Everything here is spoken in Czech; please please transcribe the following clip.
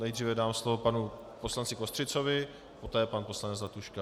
Nejdříve dám slovo panu poslanci Kostřicovi, poté pan poslanec Zlatuška.